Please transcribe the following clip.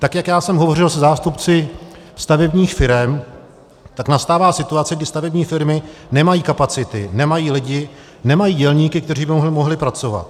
Tak jak já jsem hovořil se zástupci stavebních firem, tak nastává situace, kdy stavební firmy nemají kapacity, nemají lidi, nemají dělníky, kteří by mohli pracovat.